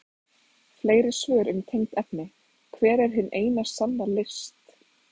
Fleiri svör um tengd efni: Hver er hin eina sanna list?